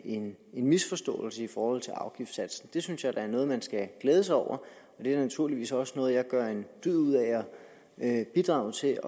en misforståelse i forhold til afgiftssatsen det synes jeg da er noget man skal glæde sig over og det er naturligvis også noget jeg gør en dyd ud af at bidrage til